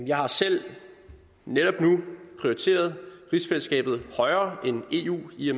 jeg har selv netop nu prioriteret rigsfællesskabet højere end eu i